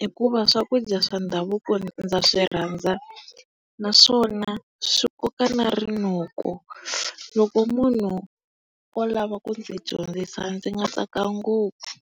hikuva swakudya swa ndhavuko ndza swi rhandza naswona swi koka na rinoko. Loko munhu o lava ku ndzi dyondzisa ndzi nga tsaka ngopfu.